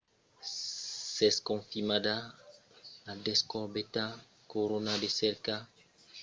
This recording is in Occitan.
s'es confirmada la descobèrta corona la cerca qu'allen fa dempuèi uèch ans del musashi